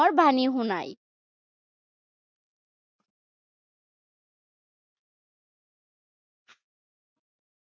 প্ৰেমৰ বাণী শুনায়।